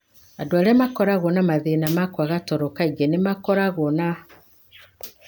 Andũ arĩa makoragwo na mathĩna ma kwaga toro kaingĩ nĩ makoragwo na